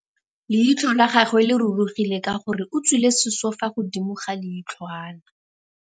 Leitlhô la gagwe le rurugile ka gore o tswile sisô fa godimo ga leitlhwana.